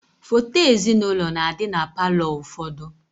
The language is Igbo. Foto ezinaụlọ na-adị na palọ ụfọdụ